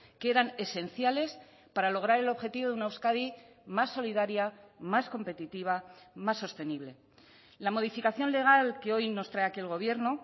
que eran esenciales para lograr el objetivo de una euskadi más solidaria más competitiva más sostenible la modificación legal que hoy nos trae aquí el gobierno